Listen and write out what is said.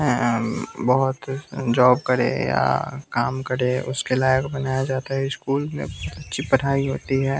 अं अं उँ बहोत जॉब करे या काम करे उसके लायक बनाया जाता है स्कूल में अच्छी पढ़ाई होती है।